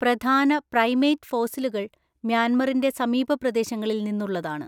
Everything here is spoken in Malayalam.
പ്രധാന പ്രൈമേറ്റ് ഫോസിലുകൾ മ്യാൻമറിന്റെ സമീപ പ്രദേശങ്ങളിൽ നിന്നുള്ളതാണ്.